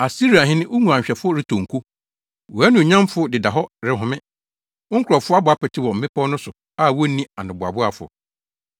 Asiriahene wo nguanhwɛfo retɔ nko. Wʼanuonyamfo deda hɔ rehome. Wo nkurɔfo abɔ apete wɔ mmepɔw no so a wonni anoboaboafo.